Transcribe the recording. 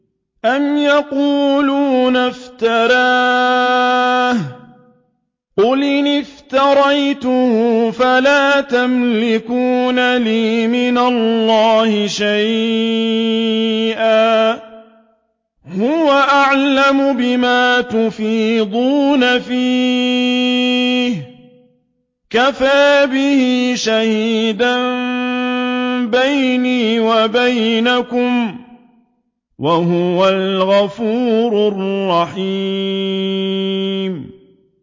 أَمْ يَقُولُونَ افْتَرَاهُ ۖ قُلْ إِنِ افْتَرَيْتُهُ فَلَا تَمْلِكُونَ لِي مِنَ اللَّهِ شَيْئًا ۖ هُوَ أَعْلَمُ بِمَا تُفِيضُونَ فِيهِ ۖ كَفَىٰ بِهِ شَهِيدًا بَيْنِي وَبَيْنَكُمْ ۖ وَهُوَ الْغَفُورُ الرَّحِيمُ